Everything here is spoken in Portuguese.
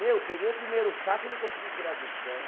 Meu, peguei o primeiro saco, não consegui tirar do chão.